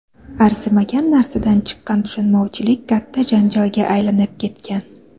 Arzimagan narsadan chiqqan tushunmovchilik katta janjalga aylanib ketgan.